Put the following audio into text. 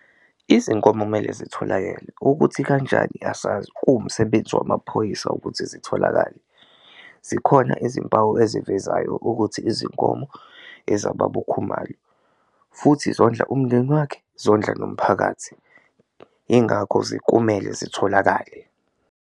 Izinkomo kumele zitholakele ukuthi kanjani asazi kuwumsebenzi wamaphoyisa ukuthi zitholakale, zikhona izimpawu ezivezayo ukuthi izinkomo ezababa uKhumalo futhi zondla umndeni wakhe zondla nomphakathi, ingakho kumele zitholakale.